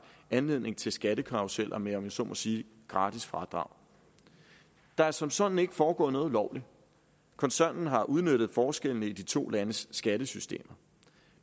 anledning til skattekarruseller med om jeg så må sige gratis fradrag der er som sådan ikke foregået noget ulovligt koncernen har udnyttet forskellene i de to landes skattesystemer